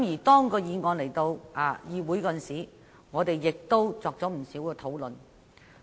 當議案提交議會，我們亦作了不少討論。